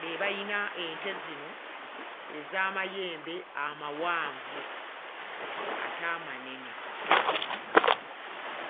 be bayina ente zino ez'amayembe amawanvu ate amanene.